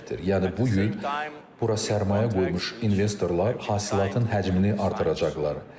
Yəni bu gün bura sərmayə qoymuş investorlar hasilatın həcmini artıracaqlar.